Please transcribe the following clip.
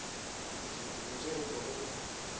dikobo tše re kwago o